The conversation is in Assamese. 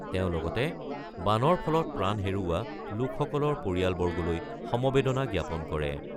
তেওঁ লগতে বানৰ ফলত প্ৰাণ হেৰুওৱা লোকসকলৰ পৰিয়ালবৰ্গলৈ সমবেদনা জ্ঞাপন কৰে।